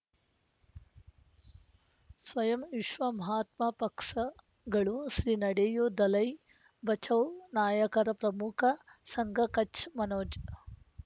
ಸ್ವಯಂ ವಿಶ್ವ ಮಹಾತ್ಮ ಪಕ್ಷಗಳು ಶ್ರೀ ನಡೆಯೂ ದಲೈ ಬಚೌ ನಾಯಕರ ಪ್ರಮುಖ ಸಂಘ ಕಚ್ ಮನೋಜ್